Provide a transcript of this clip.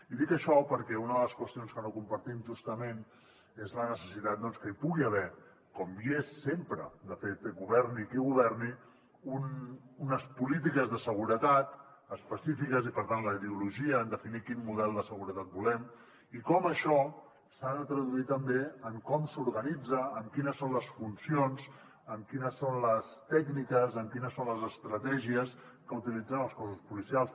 i dic això perquè una de les qüestions que no compartim justament és la necessitat doncs que hi pugui haver com hi és sempre de fet governi qui governi unes polítiques de seguretat específiques i per tant la ideologia en definir quin model de seguretat volem i com això s’ha de traduir també en com s’organitza en quines són les funcions en quines són les tècniques en quines són les estratègies que utilitzen els cossos policials